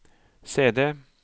CD